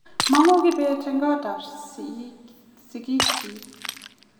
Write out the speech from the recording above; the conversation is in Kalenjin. mang'u kibet eng kot ab sigik chiik